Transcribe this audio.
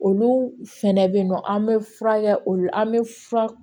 Olu fɛnɛ bɛ yen nɔ an bɛ fura kɛ olu an bɛ fura